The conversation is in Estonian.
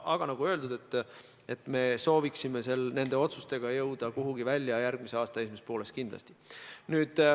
Aga nagu öeldud, me soovime nende otsustega jõuda kuhugi välja järgmise aasta esimeses pooles kindlasti.